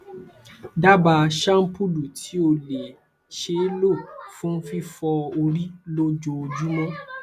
daba shampulu ti o le ṣee lo fun fifọ ori lojoojumọ